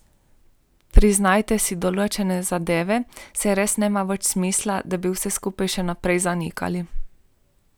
Priznajte si določene zadeve, saj res nima več smisla, da bi vse skupaj še naprej zanikali.